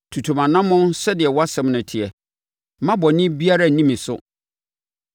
Tutu mʼanammɔn sɛdeɛ wʼasɛm no teɛ. Mma bɔne biara nni me so.